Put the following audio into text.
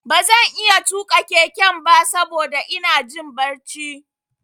Ba zan iya tuƙa keken ba saboda ina jin barci.